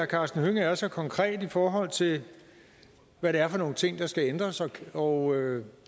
karsten hønge er så konkret i forhold til hvad det er for nogle ting der skal ændres og